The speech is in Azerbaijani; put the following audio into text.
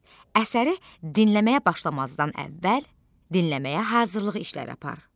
Əsəri dinləməyə başlamazdan əvvəl dinləməyə hazırlıq işləri apar.